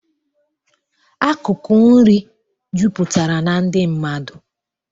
Akụkụ nri juputara na ndị mmadụ